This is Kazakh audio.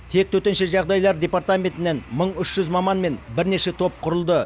тек төтенше жағдайлар департаментінен мың үш жүз маман мен бірнеше топ құрылды